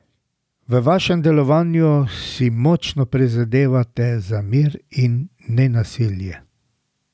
V vašem delovanju si močno prizadevate za mir in nenasilje.